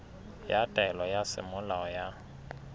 ya taelo ya semolao ya